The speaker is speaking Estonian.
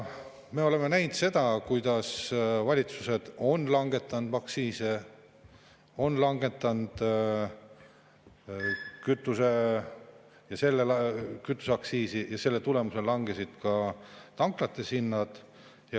Me oleme näinud, kuidas valitsused on langetanud aktsiise, on langetanud kütuseaktsiisi ja selle tulemusel langesid ka tanklates hinnad.